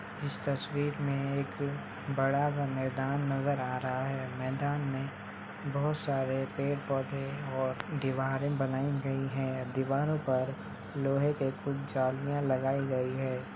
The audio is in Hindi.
इस तस्वीर में एक बड़ा सा मैदान नज़र आ रहा है मैदान में बहुत सारे पेड़ पौधे और दीवार बनाई गयी है | दीवार पर लोहे की कुछ जालियां लगाई गयी है।